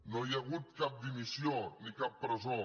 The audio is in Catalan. no hi ha hagut cap dimissió ni cap presó